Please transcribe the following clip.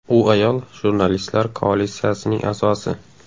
U Ayol jurnalistlar Koalitsiyasining a’zosi.